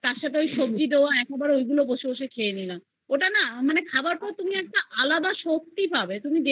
সবজি ঐগুলো বসে বসে খেয়ে নিলাম ওটা না খাবার পর তুমি একটা আলাদা শক্তি পাবে